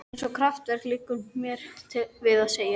Eins og kraftaverk, liggur mér við að segja.